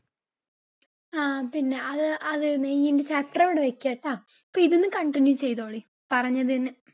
ആ അതുതന്നെ നെയ്യ് എനിക്ക് അത്ര . അപ്പ ഇത് ഇനി continue ചെയ്തോളി, പറഞ്ഞതിന്